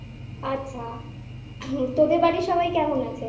আচ্ছা তোদের বাড়ির সবাই কেমন আছে?